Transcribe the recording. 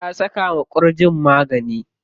Ta saka wa ƙurjin magani.